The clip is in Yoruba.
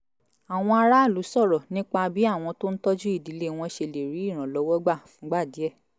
àwọn aráàlú sọ̀rọ̀ nípa bí àwọn tó ń tọ́jú ìdílé wọn ṣe lè rí ìrànlọ́wọ́ gbà fúngbà díẹ̀